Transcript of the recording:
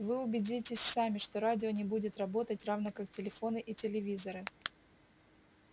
вы убедитесь сами что радио не будет работать равно как телефоны и телевизоры